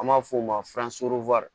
An b'a f'o ma